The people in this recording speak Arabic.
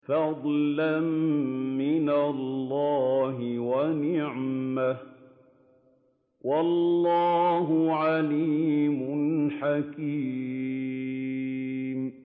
فَضْلًا مِّنَ اللَّهِ وَنِعْمَةً ۚ وَاللَّهُ عَلِيمٌ حَكِيمٌ